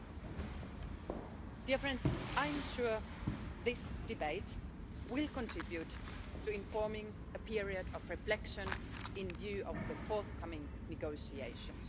Dear friends, I'm sure this debate will contribute to informing a period of reflection in view of the forthcoming negotiations.